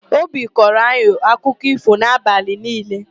Obi kọọro anyị akụkọ ífò n'abalị niile.